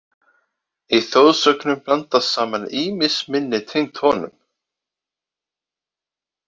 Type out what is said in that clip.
Í þjóðsögunum blandast saman ýmis minni tengd honum.